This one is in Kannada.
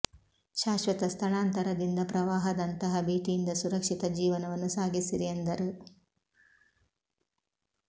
ಶಾಶ್ವತ ಸ್ಥಳಾಂತರದಿಂದ ಪ್ರವಾಹ ದಂತಹ ಭೀತಿಯಿಂದ ಸುರಕ್ಷಿತ ಜೀವನವನ್ನು ಸಾಗಿಸಿರಿ ಎಂದರು